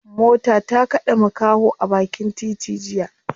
Mota ta kade makaho a bakin titi jiya.